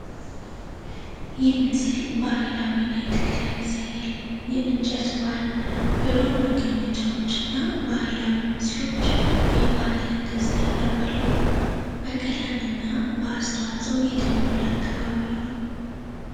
ይህ ምስል ባህላዊ ናይት ክለብ ያሳያል። የእንጨት ባር፣ ብሩህ መቀመጫዎች፣ እና ባህላዊ ስዕሎች የባህልን ደስታ ያቀርባሉ። በቀለም እና በአስተዋፅኦ የተሞላ አካባቢ ነው።